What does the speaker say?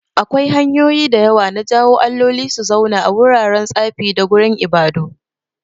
Akwai hanyoyi da yawa na jawo alloli su zauna a wuraren tsafi da gurin ibadu.